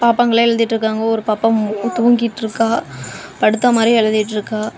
பாப்பாங்கெல்லாம் எழுதிட்ருக்காங்க ஒரு பாப்பா மட்டும் தூங்கிட்ருக்கா படுத்த மாரியே எழுதிட்ருக்கா.